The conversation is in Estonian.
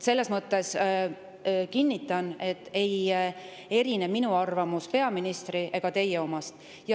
Ma kinnitan, et minu arvamus ei erine selles mõttes peaministri ega teie omast.